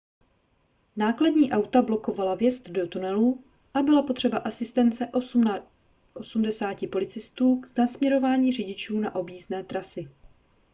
nákladní auta blokovala vjezd do tunelů a byla potřeba asistence 80 policistů k nasměrování řidičů na objízdné trasy